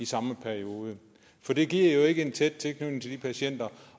samme periode for det giver jo ikke en tæt tilknytning til de patienter